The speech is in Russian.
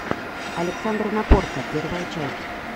александр напорко первая часть